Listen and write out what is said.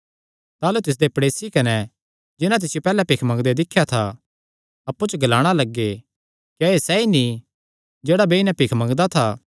ताह़लू तिसदे प्ड़ेसी कने जिन्हां तिसियो पैहल्ले भिख मंगदे दिख्या था अप्पु च ग्लाणा लग्गे क्या एह़ सैई नीं जेह्ड़ा बेई नैं भिख मंगदा था